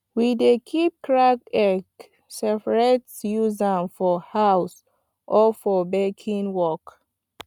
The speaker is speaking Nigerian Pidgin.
we dey keep cracked egg separate use am for house or for baking work